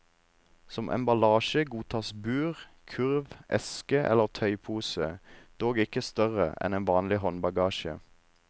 Som emballasje godtas bur, kurv, eske eller tøypose, dog ikke større en vanlig håndbagasje.